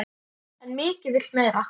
En mikið vill meira.